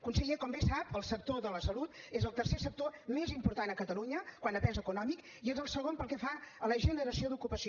conseller com bé sap el sector de la salut és el tercer sector més important a catalunya quant a pes econòmic i és el segon pel que fa a la generació d’ocupació